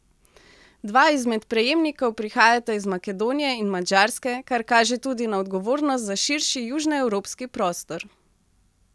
Dva izmed prejemnikov prihajata iz Makedonije in Madžarske, kar kaže tudi na odgovornost za širši južnoevropski prostor.